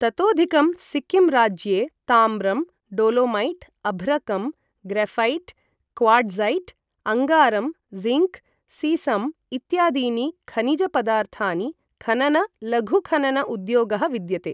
ततोधिकं, सिक्किं राज्ये ताम्रं, डोलोमैट्, अभ्रकं, ग्रऴैट्, क्वार्ट्ज़ैट्, अङ्गारं, ज़िङ्क्, सीसम् इत्यादीनि खनिजपदार्थानि खनन लघुखनन उद्योगः विद्यते।